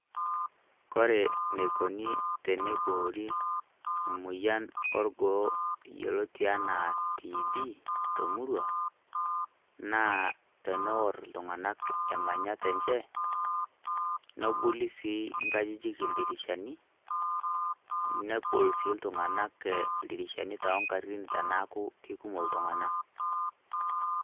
Kore neikoni teneboori emoyian e orgoo yioloti enaa TB to murrua, naa teneorr ltung'anak emanyaat enchee nebulii sii nkajijik dirishaani .Nepool sii ltung'anak ldirishani lo ng'aari teneaku kekumook ltung'ana.